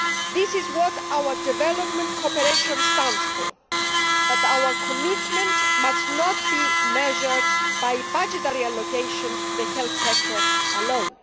This is what our development cooperation stands for, but our commitment must not be measured by budgetary allocations to the health sector alone.